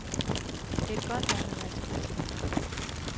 Det er et godt land at være turist i.